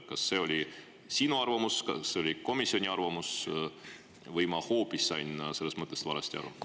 Kas see oli sinu arvamus, kas see oli komisjoni arvamus või ma hoopis sain sellest mõttest valesti aru?